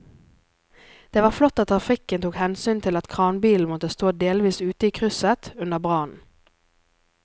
Det var flott at trafikken tok hensyn til at kranbilen måtte stå delvis ute i krysset under brannen.